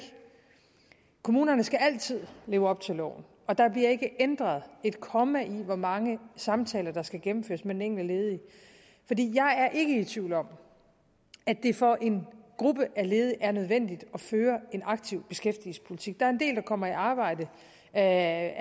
kommunerne skal altid leve op til loven og der bliver ikke ændret et komma i hvor mange samtaler der skal gennemføres med den enkelte ledige jeg er ikke i tvivl om at det for en gruppe af ledige er nødvendigt at føre en aktiv beskæftigelsespolitik der er en del der kommer i arbejde af